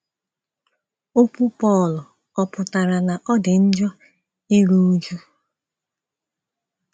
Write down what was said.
Okwu Pọl ọ̀ pụtara na ọ dị njọ iru újú?